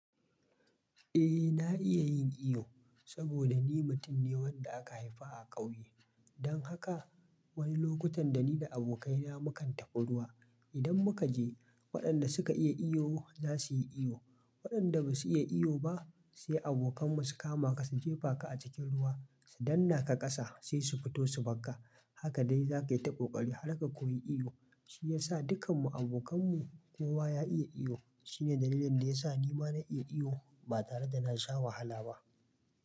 Eh na iya yin iyo saboda ni mutum ne wanda aka haifa a ƙauye. Don haka wani lokutan da ni da abokaina mu kan taɓa ruwa, idan muka je waɗanda suka iya iyo za su yi iyo, waɗanda ba su iya iyo ba sai abokanmu su kama ka, su jefa ka a cikin ruwa, su danna ka ƙasa sai su fito su bakka. Haka dai za ka yi ta ƙoƙari har ka koyi iyo. Shi ya sa dukan mu abokanmu kowa ya iya iyo. Shine dalilin da ya sa ni ma na iya iyo ba tare da na sha wahala ba.